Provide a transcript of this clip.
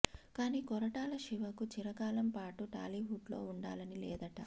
కానీ కొరటాల శివకు చిరకాలం పాటు టాలీవుడ్ లో వుండాలని లేదట